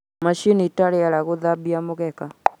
macini ta riera guthambia mugeeka